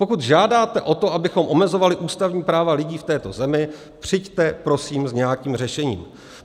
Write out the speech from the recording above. Pokud žádáte o to, abychom omezovali ústavní práva lidí v této zemi, přijďte prosím s nějakým řešením.